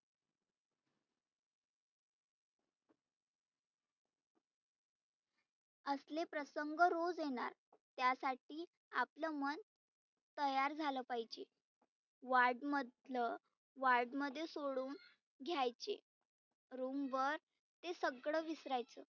आसले प्रसंग रोज येणार. त्यासाठी आपलं मन तयार झालं पाहिजे ward मधलं ward मध्ये सोडुन घ्यायचे room वर ते सगळ विसरायचं